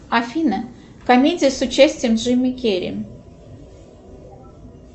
афина комедия с участием джима керри